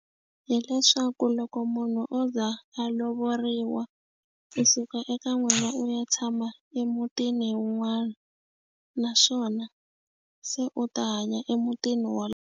Hileswaku loko munhu o za a lovoriwa u suka eka n'wina u ya tshama emutini wun'wana naswona se u ta hanya emutini .